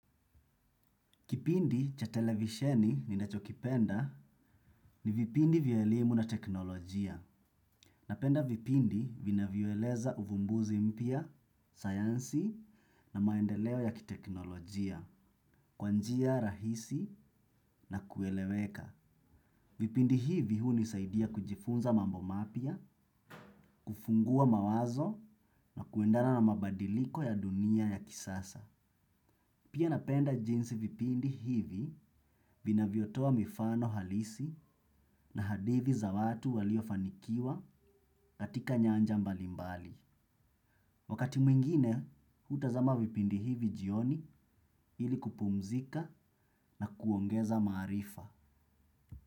Kipindi cha televisheni ninachokipenda ni vipindi vya elimu na teknolojia. Napenda vipindi vinavyoeleza uvumbuzi mpya, sayansi na maendeleo ya kiteknolojia, kwa njia rahisi na kueleweka. Vipindi hivi hunisaidia kujifunza mambo mapya, kufungua mawazo na kuendana na mabadiliko ya dunia ya kisasa. Pia napenda jinsi vipindi hivi vinavyotoa mifano halisi na hadithi za watu waliofanikiwa katika nyanja mbalimbali. Wakati mwingine, utazama vipindi hivi jioni ili kupumzika na kuongeza maarifa.